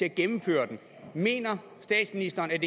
at gennemføre dem mener statsministeren at